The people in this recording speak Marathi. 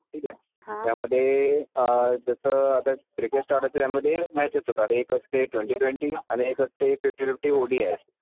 ठीक आहे. त्यामध्ये अं .. जसं आता क्रिकेट स्टँडमधे मॅच असते एक असते ट्वेंटी ट्वेंटी आणि एक असते फिफ्टी फिफ्टी ओडीआय